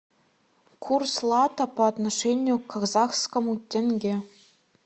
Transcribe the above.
курс лата по отношению к казахскому тенге